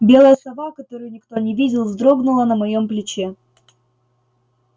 белая сова которую никто не видел вздрогнула на моем плече